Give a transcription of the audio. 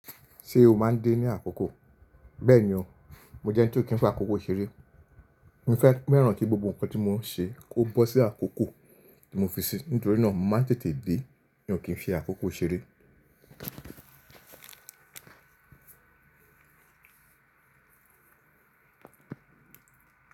Ṣé o máa ń dé ní àkókò? Bẹ́ẹ̀ni o, mo jẹ́ ẹni tí ó kí ń fi àkókò ṣeré. Mo fẹ́ míràn kí gbogbo nnkan tí mo ń ṣe kó bọ́ sí àkókò tí mo fi si, nítorí náà mo máa ń tètè dé mí o kí n fi àkókò ṣeré.